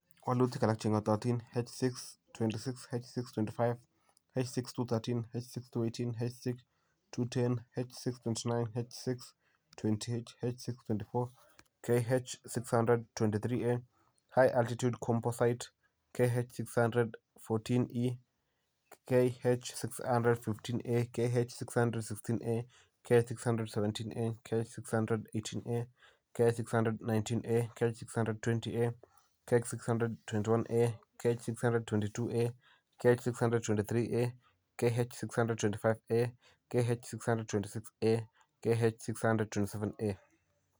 walutik alak che ng'atootin: H626, H625, H6213, H6218, H6210, H629, H628, H624, KH600-23A, High Altitude Composite , KH600-14E KH600-15A KH600-16A, KH600-17A, KH600-18A, KH600-19A, KH600-20A, KH600-21A, KH600-22A, KH600 23A, KH600-25A, KH600-26A, KH600-27A.